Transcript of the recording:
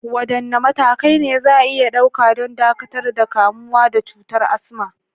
Wadanne matakai ne za a iya ɗauka don dakatar da kamuwa da cutar asma?